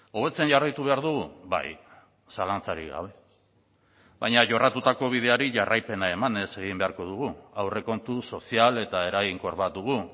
hobetzen jarraitu behar dugu bai zalantzarik gabe baina jorratutako bideari jarraipena emanez egin beharko dugu aurrekontu sozial eta eraginkor bat dugu